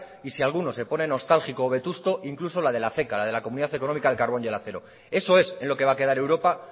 y si alguno se pone nostálgico o vetusto incluso la de la ceca la de la comunidad económica del carbón y el acero eso es en lo que va a quedar europa